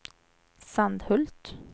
Sandhult